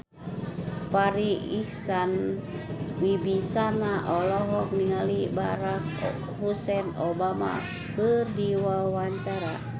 Farri Icksan Wibisana olohok ningali Barack Hussein Obama keur diwawancara